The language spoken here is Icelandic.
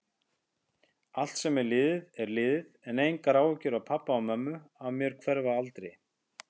Allt sem er liðið er liðið, en áhyggjur pabba og mömmu af mér hverfa aldrei.